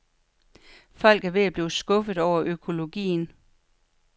Folk er ved at blive skuffet over økologien.